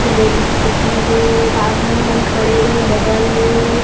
इ मेर स्कूटी हे आदमी मन खड़े हे बगल में --